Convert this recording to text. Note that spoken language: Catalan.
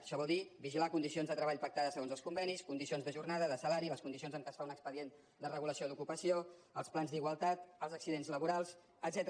això vol dir vigilar condicions de treball pactades segons els convenis condicions de jornada de salari les condicions amb què es fa un expedient de regulació d’ocupació els plans d’igualtat els accidents laborals etcètera